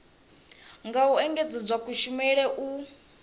nga u engedzedza kushumele u